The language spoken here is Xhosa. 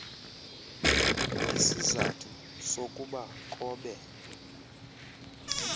isizathu sokuba kobe